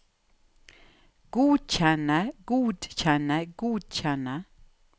godkjenne godkjenne godkjenne